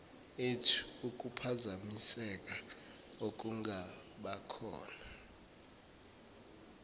ethu ukuphazamiseka okungabakhona